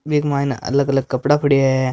बिक माइन अलग-अलग कपडा पड्या हैं।